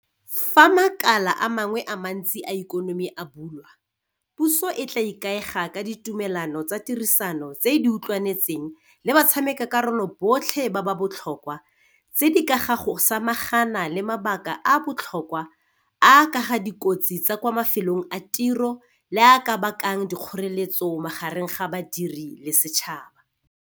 Fa makala a mangwe a mantsi a ikonomi a bulwa, puso e tla ikaega ka ditumelano tsa tirisano tse e di utlwanetseng le batshameka karolo botlhe ba ba botlhokwa tse di ka ga go samagana le mabaka a a botlhokwa a a ka ga dikotsi tsa kwa mafelong a tiro le a a ka bakang dikgoreletso magareng ga badiri le setšhaba.